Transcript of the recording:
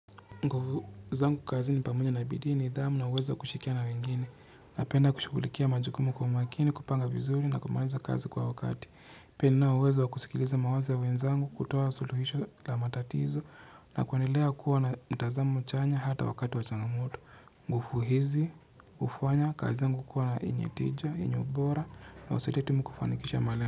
Nguvu zangu kazini pamoja na bidii, nidhamu na uwezo wa kushirikiana na wengine. Napenda kushugulikia majukumu kwa umakini, kupanga vizuri na kumaliza kazi kwa wakati. Pia ninauwezo wa kusikiliza mawazo ya wenzangu, kutoa suluhisho za matatizo na kuendelea kuwa na mtazamo chanya ata wakati wa changamoto. Nguvu hizi hufanya kazi zangu kuwa yenyetija, yenyeubora na usitetemeke kufanikisha malengo.